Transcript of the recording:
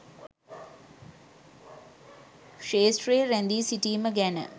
ක්ෂේත්‍රයේ රැඳී සිටීම ගැන.